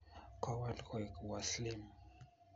kowal koek Uaslim